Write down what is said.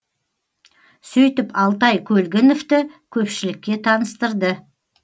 сөйтіп алтай көлгіновті көпшілікке таныстырды